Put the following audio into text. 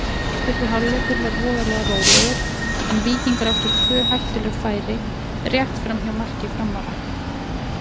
Fyrri hálfleikur var voðalega rólegur en Víkingar áttu tvö hættuleg færi rétt framhjá marki Framara.